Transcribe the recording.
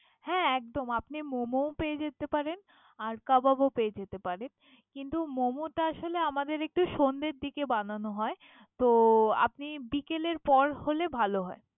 হ্যা একদম মোমো পেয়ে যেতে পারেন। কাবাব ও পেয়ে যেতে পারেন। কিন্ত মোমো আসলে একটু আমাদের একটু সন্ধ্যার দিকে বানানো হয়